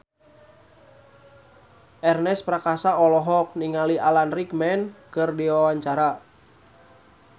Ernest Prakasa olohok ningali Alan Rickman keur diwawancara